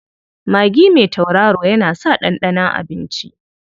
Magi mai tauraro yana sa ɗanɗanon abinci.